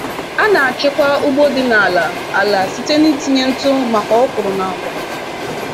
A na-achịkwa ugbo dị n’ala ala site n’itinye ntụ maka okwuru na agwa.”